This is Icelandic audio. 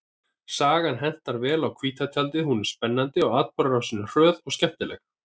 Sagan hentar vel á hvíta tjaldið, hún er spennandi og atburðarásin er hröð og skemmtileg.